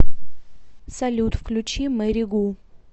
салют включи мэри гу